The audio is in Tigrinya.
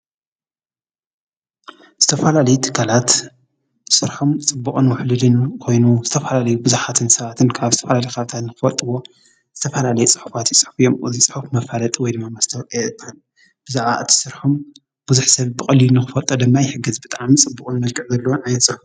ዝተፈላለዩ ትካላት ስርሖም ፅቡቕን ውሕሉልን ኮይኑ ዝተፈላለዩ ብዙሓትን ሰባትን ካብ ዝተፈላለዩ ከባቢታት ንክፈልጥዎ ዝተፈላለዩ ፅሑፋት ይፅሕፉ እዮም፡፡ እዚ ፅሑፍ መፋለጢ ወይ ድማ መስታወቅያ ብዛዕባ እቲ ስርሖም ብዙሕ ሰብ ብቐሊሉ ንኽፈልጦ ድማ ይሕግዝ ፡፡ ብጣዕሚ ፅቡቕ መልክዕ ዓይነት ዘለዎ።